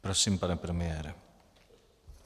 Prosím, pane premiére.